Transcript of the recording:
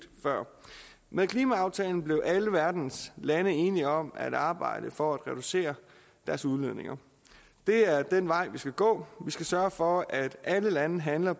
før med klimaaftalen blev alle verdens lande enige om at arbejde for at reducere deres udledninger det er den vej vi skal gå vi skal sørge for at alle lande handler